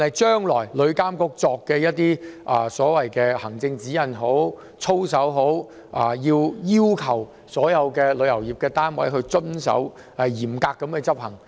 對旅監局將來制訂的行政指引、操守，當局須要求所有旅遊業單位嚴格遵守。